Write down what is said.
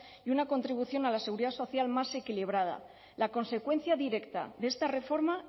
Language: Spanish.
y una contribución a la seguridad social más equilibrada la consecuencia directa de esta reforma